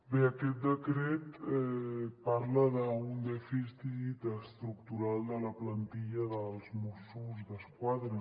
bé aquest decret parla d’un dèficit estructural de la plantilla dels mossos d’esquadra